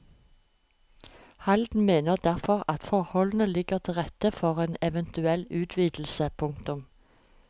Halden mener derfor at forholdene ligger til rette for en eventuell utvidelse. punktum